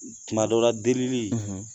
Tuma dɔw delili